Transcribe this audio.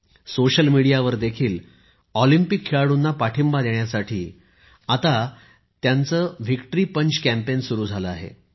social मीडियावर देखील Olympic खेळाडूंना पाठिंबा देण्यासाठी आता व्हिक्टरी पंच कॅम्पेन म्हणजेच विजयी ठोसा अभियान सुरु झाले आहे